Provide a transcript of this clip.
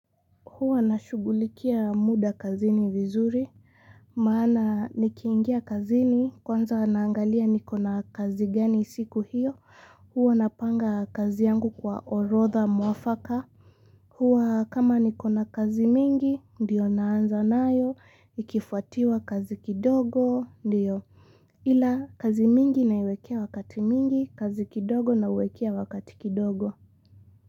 Huwa nashugulikia muda kazini vizuri, Maana nikiingia kazini kwanza naangalia nikona kazi gani siku hiyo, huwa napanga kazi yangu kwa orodha mwafaka. Huwa kama nikona kazi mingi ndiyo naanza nayo ikifuatiwa kazi kidogo ndiyo. Ila kazi mingi naiwekea wakati mwingi, kazi kidogo nauwekea wakati kidogo.